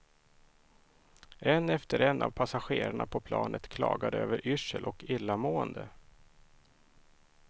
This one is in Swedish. En efter en av passagerarna på planet klagade över yrsel och illamående.